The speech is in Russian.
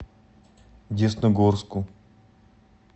десногорску